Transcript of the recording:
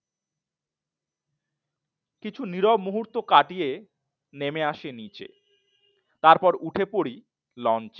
কিছু নীরব মুহূর্ত কাটিয়ে নেমে আসে নিচে তারপর উঠে পড়ে লঞ্চে।